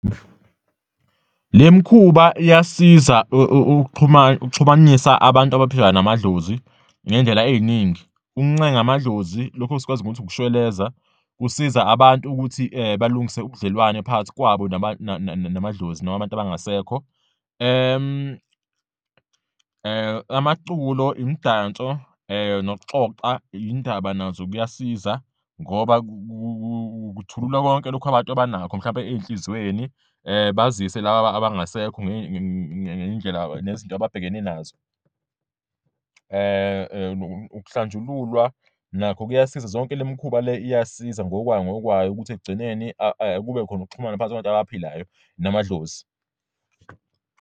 Le mikhuba iyasiza ukuxhuma, ukuxhumanisa abantu abaphila namadlozi ngey'ndlela ey'ningi, ukuncenga amadlozi, lokhu esikwazi ngokuthi ukushweleza, kusiza abantu ukuthi balungise ubudlelwane phakathi kwabo namadlozi noma abantu abangasekho. Amaculo, imidanso nokuxoxa iy'ndaba nazo kuyasiza ngoba kuthululwa konke lokhu abantu abanakho mhlawumbe ey'nhliziyweni, bazise laba abangasekho ngey'ndlela nezinto ababhekene nazo. Ukuhlanjululwa nakho kuyasiza, zonke le mikhuba le iyasiza ngokwayo ngokwayo ukuthi ekugcineni kube khona ukuxhumana phakathi kwabantu abaphilayo namadlozi.